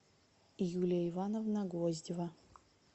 юлия ивановна гвоздева